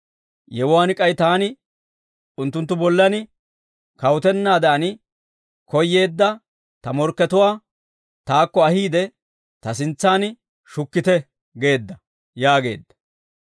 Yewuwaan k'ay taani unttunttu bollan kawutennaadan koyyeedda ta morkkatuwaa taakko ahiide ta sintsaan shukkite› geedda» yaageedda.